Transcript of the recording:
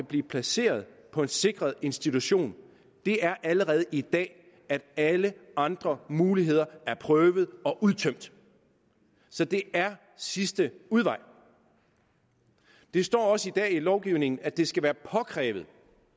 blive placeret på en sikret institution allerede i dag er at alle andre muligheder er prøvet og udtømt så det er sidste udvej det står også i dag i lovgivningen at det skal være påkrævet